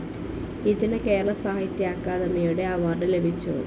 ഇതിനു കേരള സാഹിത്യ അക്കാദമിയുടെ അവാർഡ്‌ ലഭിച്ചു.